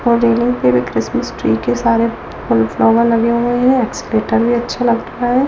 Christmas tree के सारे flower लगे हुए हैं एक्सलेटर भी अच्छे लग रहे हैं।